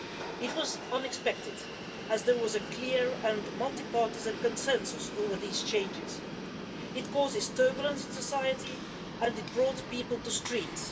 It was unexpected, as there was a clear and multi partisan consensus over these changes. It caused turbulence in society and it brought people to the streets.